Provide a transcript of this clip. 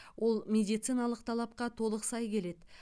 ол медициналық талапқа толық сай келеді